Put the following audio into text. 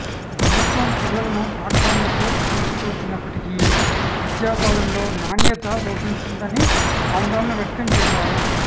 ప్రభుత్వం పిల్లలను పాఠశాలలకు తీసుకువచ్చినప్పటికీ విద్యా బోధనలో నాణ్యత లోపించిందని ఆందోళన వ్యక్తం చేశారు